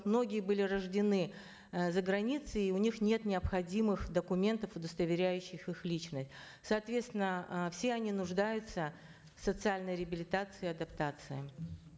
многие были рождены э заграницей и у них нет необходимых документов удостоверяющих их личность соответственно э все они нуждаются в социальной реабилитации и адаптации